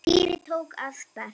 Týri tók á sprett.